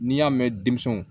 N'i y'a mɛn denmisɛnw